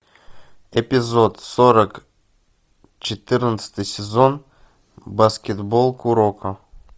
эпизод сорок четырнадцатый сезон баскетбол куроко